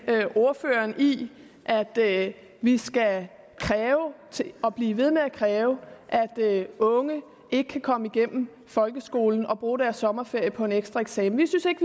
ordføreren i at vi skal kræve og blive ved med at kræve og at unge ikke kan komme igennem folkeskolen og skal bruge deres sommerferie på en ekstra eksamen vi synes ikke